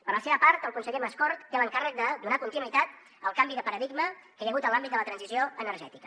per la seva part el conseller mascort té l’encàrrec de donar continuïtat al canvi de paradigma que hi ha hagut en l’àmbit de la transició energètica